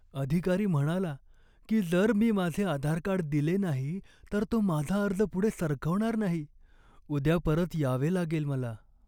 अधिकारी म्हणाला की जर मी माझे आधार कार्ड दिले नाही तर तो माझा अर्ज पुढे सरकवणार नाही. उद्या परत यावे लागेल मला.